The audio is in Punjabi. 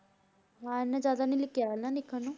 ਹਾਂ ਇੰਨਾ ਜ਼ਿਆਦਾ ਨੀ ਕਿਹਾ ਨਾ ਲਿਖਣ ਨੂੰ।